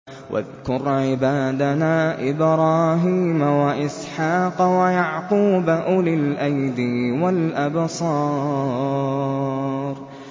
وَاذْكُرْ عِبَادَنَا إِبْرَاهِيمَ وَإِسْحَاقَ وَيَعْقُوبَ أُولِي الْأَيْدِي وَالْأَبْصَارِ